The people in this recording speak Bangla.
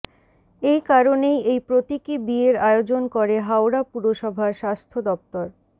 এই কারণেই এই প্রতীকী বিয়ের আয়োজন করে হাওড়া পুরসভার স্বাস্থ্য দফতর